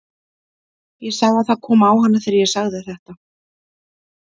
Ég sá að það kom á hana þegar ég sagði þetta.